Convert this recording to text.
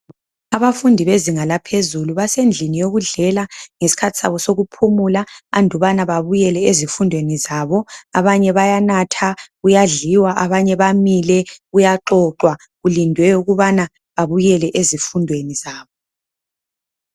Abafundi bezinga laphezulu basendlini yokudlela isikhathi sabo sokuphumula andubaba babuyele ezifundweni zabo abanye bayanatha kuyadliwa abanye bamile kuyaxoxwa kulindwe ukubana babuyele ezifundweni zabo.